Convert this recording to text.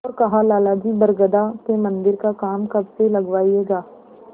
और कहालाला जी बरगदा के मन्दिर का काम कब से लगवाइएगा